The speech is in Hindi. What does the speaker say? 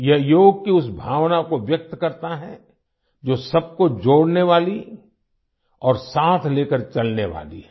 यह योग की उस भावना को व्यक्त करता है जो सबको जोड़ने वाली और साथ लेकर चलने वाली है